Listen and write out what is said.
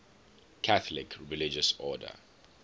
catholic religious order